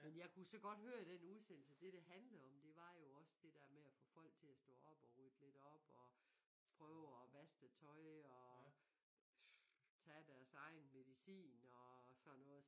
Men jeg kunne så godt høre i den udsendelse det det handlede om det var jo også det der med at få folk til at stå op og rydde lidt op og prøve og vaske det tøj og tage deres egen medicin og sådan noget